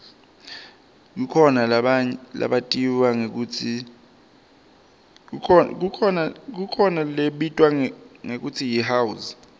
kukhona lebitwa ngekutsi yihouse